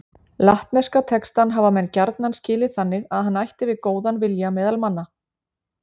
Latneska textann hafa menn gjarna skilið þannig að hann ætti við góðan vilja meðal manna.